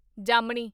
ਜਾਮਨੀ